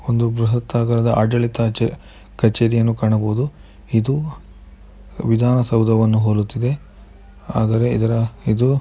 ಒಂದು ಬೃಹತ್ ಆಕಾರದ ಆಡಳಿತ ಛೆ ಕಚೇರಿಯನ್ನು ಕಾಣಬಹುದು ಇದು ವಿಧಾನ ಸೌಧವನ್ನ ಹೋಲುತ್ತದೆ ಆದರೆ ಇದರ ಇದು --